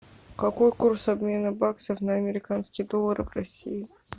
какой курс обмена баксов на американские доллары в россии